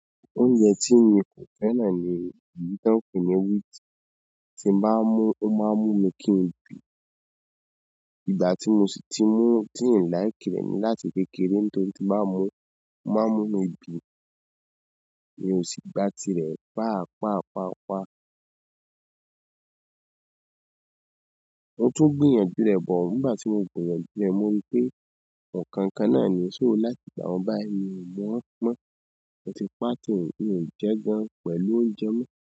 Oúnjẹ tí mi kò fẹ́ràn ni ìyí tán pe nì wheat. Tí n bá mú, ó máa ń mú mi kí n bì. Ìgbà tí mo si ti mú, tí ń like rẹ ni láti kékeré nítorí ti n bá mú, ó máa ń mú mi bì. Mi o si gba tirẹ paapaa paapaa. Mo tun gbìyànjú rẹ bọ. Nígbà tí mo gbìyànjú rẹ̀, mo rípé, "nǹkan kan náà ni ṣò láti ìgbà un báyi, mi ò mọ̀ ọ́n mọ́." Moti paati mi o jẹ gan pẹ̀lú onujẹ mọ.